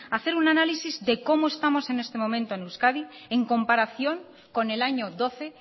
hacer un análisis de cómo estamos en estos momentos en euskadi en comparación con el año doce